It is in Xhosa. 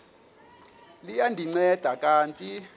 liya ndinceda kanti